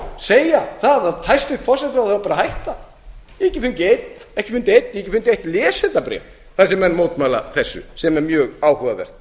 segja það að hæstvirtur forsætisráðherra eigi bara að hætta ég hef ekki fundið einn ég hef ekki fundið eitt lesendabréf þar sem menn mótmæla þessu sem er mjög áhugavert